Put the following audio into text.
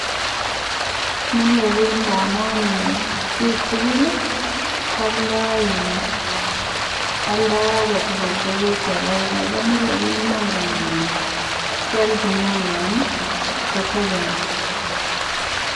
Mile bik ndamun bik tukuli kwoldo oldo agetukul tukuk chekergee komile bik menge Ile kikochin oino nii kotebi ngo.